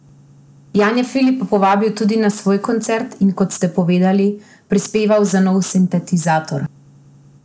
Jan je Filipa povabil tudi na svoj koncert, in kot ste povedali, prispeval za nov sintetizator.